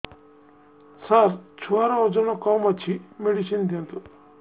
ସାର ଛୁଆର ଓଜନ କମ ଅଛି ମେଡିସିନ ଦିଅନ୍ତୁ